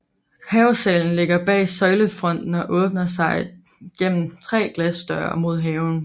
Havesalen ligger bag søjlefronten og åbner sig gennem tre glasdøre mod haven